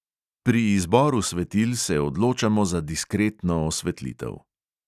Pri izboru svetil se odločamo za diskretno osvetlitev.